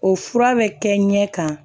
O fura bɛ kɛ ɲɛ kan